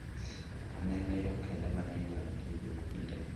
Ne en yo kende ma ne inyal tigo e kindeno.